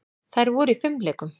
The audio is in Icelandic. Þær voru í fimleikum.